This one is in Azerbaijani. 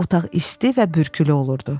Otaq isti və bürkülü olurdu.